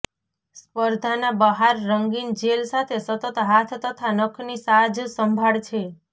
સ્પર્ધાના બહાર રંગીન જેલ સાથે સતત હાથ તથા નખની સાજસંભાળ છે